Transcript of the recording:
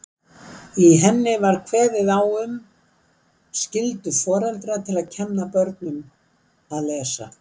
Í henni var kveðið á um skyldu foreldra til að kenna börnum að lesa.